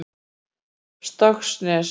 Stokksnesi